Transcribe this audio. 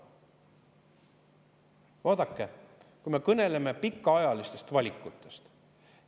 Vaadake, me kõneleme pikaajalistest valikutest.